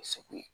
Segu